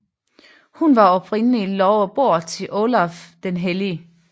Hun var oprindelig lovet bort til Olav den hellige